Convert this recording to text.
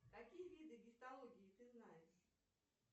какие виды гистологии ты знаешь